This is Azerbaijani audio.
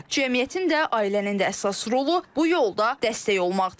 Cəmiyyətin də, ailənin də əsas rolu bu yolda dəstək olmaqdır.